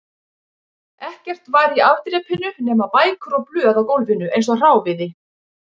Ekkert var í afdrepinu nema bækur og blöð á gólfinu eins og hráviði